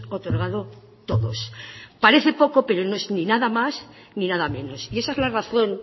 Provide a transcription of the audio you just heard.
otorgado todos parece poco pero no es ni nada más ni nada menos y esa es la razón